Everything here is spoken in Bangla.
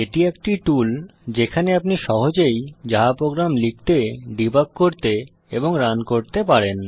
এটি একটি টুল যেখানে আপনি সহজেই জাভা প্রোগ্রাম লিখতে ডিবাগ করতে এবং রান করতে পারেন